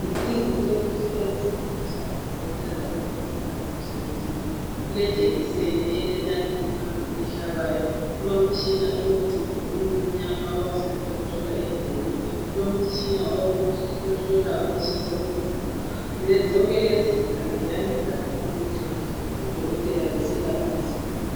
Izincediso ezisetshenziswa ngodokotela labomongikazi emsebenzini wabo kule jekiseni elenalithi phambili ehlabayo kulomtshina olomcijo omncinyane abawusebenzisa ukuhlola indlebe, kulomtshina ohlola ukutshisa komzimba zonke lezi zikhali ziyanceda kakhulu nxa odokotela beselapha izigulane.